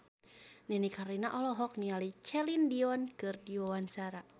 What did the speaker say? Nini Carlina olohok ningali Celine Dion keur diwawancara